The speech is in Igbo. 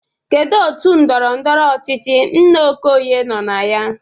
Kedu otu ndọrọndọrọ ọchịchị nna Okoye nọ na ya?